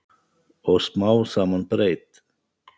Og smám saman breyt